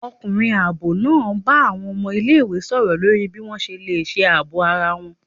Ọkunrín aabọ náá bá awọn ọmọ ìlé-ìwé sọrọ lorí bi wọn ṣe le ṣe aabọ ará wọn